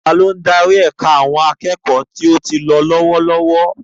Ta ló ń darí ẹ̀ka àwọn akẹ́kọ̀ọ́ tó ti lọ lọ́wọ́lọ́wọ́?